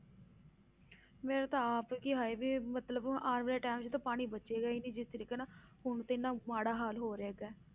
ਮੇਰਾ ਤਾਂ ਆਪ ਕਿ ਹਾਏ ਵੀ ਮਤਲਬ ਹੁਣ ਆਉਣ ਵਾਲੇ time 'ਚ ਤਾਂ ਪਾਣੀ ਬਚੇਗਾ ਹੀ ਨੀ ਜਿਸ ਤਰੀਕੇ ਨਾਲ ਹੁਣ ਤਾਂ ਇੰਨਾ ਮਾੜਾ ਹਾਲ ਹੋ ਰਿਹਾ ਹੈਗਾ।